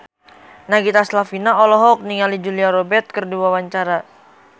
Nagita Slavina olohok ningali Julia Robert keur diwawancara